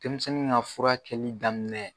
Denmisɛnnin ka fura kɛli daminɛ.